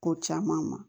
Ko caman ma